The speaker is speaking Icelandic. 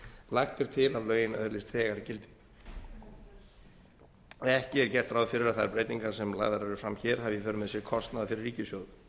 lagt er til að lögin öðlist þegar gildi ekki er gert ráð fyrir að þær breytingar sem lagðar eru fram hér hafi í för með sér kostnað fyrir ríkissjóð